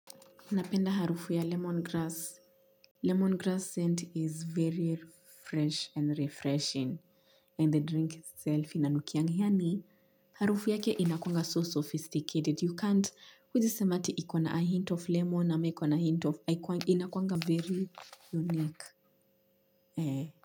Napenda harufu ya lemongrass lemongrass scent is very fresh and refreshing and the drink itself inanukianga yaani harufu yake inakuanga so sophisticated you can't huezi sema ati ikona a hint of lemon ama iko na hint of inakuanga very unique eh.